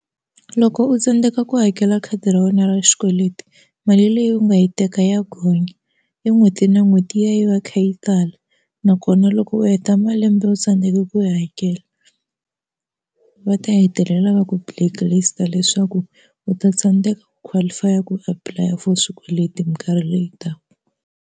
Loko u tsandzeka ku hakela khadi ra wena ra xikweleti mali leyi u nga yi teka ya gonya i n'hweti na n'hweti yi ya yi va yi kha yi tala nakona loko u heta malembe u tsandeka ku hakela va ta hetelela va ku blacklist leswaku u ta tsandzeka ku qualify a ku apply a for swikweleti minkarhi leyi taka.